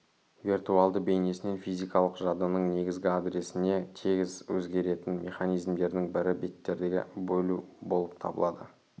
виртуалды бейнесін физикалық жадының негізгі адресіне тез өзгеретін механизмдердің бірі беттерге бөлу болып табылады